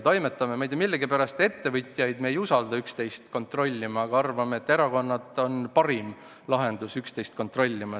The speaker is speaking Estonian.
Ma ei tea, millegipärast ettevõtjaid me ei usalda üksteist kontrollima, samas arvame, et erakonnad on parim lahendus üksteist kontrollima.